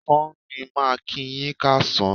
Ọ̀sán ni màá kíi yín káàsán.